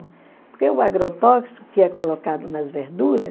Porque o agrotóxico que é colocado nas verduras,